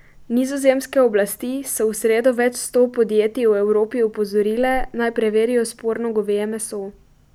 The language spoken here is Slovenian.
Nizozemske oblasti so v sredo več sto podjetij v Evropi opozorile, naj preverijo sporno goveje meso.